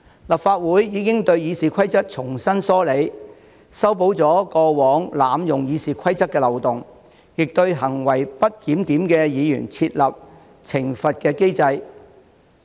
立法會已對《議事規則》重新梳理，修補了過往濫用《議事規則》的漏洞，亦對行為不檢點的議員設立懲罰機制。